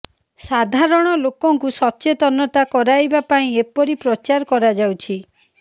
ସାଧରଣ ଲୋକଙ୍କୁ ସଚେତନତା କରାଇବା ପାଇଁ ଏପରି ପ୍ରଚାର କରାଯାଉଛି